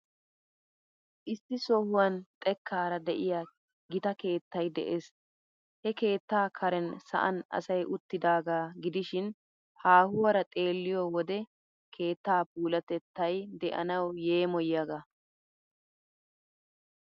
Issi sohuwan xekkaara de'iyaa gita keettay de'ees. He keettaa karen sa'an asay uttidaagaa gidishin, haahuwaara xeelliyo wode keettaa puulatettay de'anawu yeemoyiyaaga.